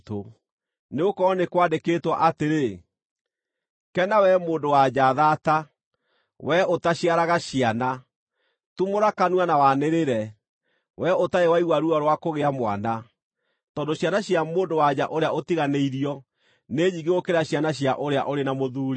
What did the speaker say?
nĩgũkorwo nĩ kwandĩkĩtwo atĩrĩ: “Kena wee mũndũ-wa-nja thata, wee ũtaciaraga ciana, tumũra kanua na wanĩrĩre, wee ũtarĩ waigua ruo rwa kũgĩa mwana; tondũ ciana cia mũndũ-wa-nja ũrĩa ũtiganĩirio nĩ nyingĩ gũkĩra cia ũrĩa ũrĩ na mũthuuri.”